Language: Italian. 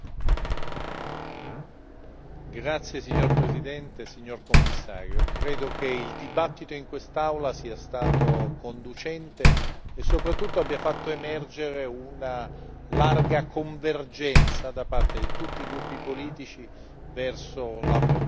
Signora Presidente, onorevoli colleghi, Commissario, credo che il dibattito in quest'Aula sia stato costruttivo e soprattutto abbia fatto emergere una larga convergenza da parte di tutti i gruppi politici verso la proposta della Commissione, così come modificata